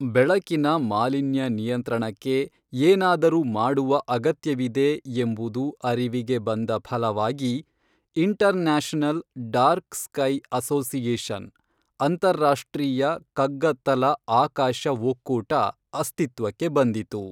ಬೆಳಕಿನ ಮಾಲಿನ್ಯ ನಿಯಂತ್ರಣಕ್ಕೆ ಏನಾದರೂ ಮಾಡುವ ಅಗತ್ಯವಿದೆ ಎಂಬುದು ಅರಿವಿಗೆ ಬಂದ ಫಲವಾಗಿ ಇಂಟರ್ನ್ಯಾಷನಲ್ ಡಾರ್ಕ್ ಸ್ಕೈ ಅಸೋಸಿಯೇಶನ್ ಅಂತಾರಾಷ್ಟ್ರೀಯ ಕಗ್ಗತ್ತಲ ಆಕಾಶ ಒಕ್ಕೂಟ ಅಸ್ತಿತ್ವಕ್ಕೆ ಬಂದಿತು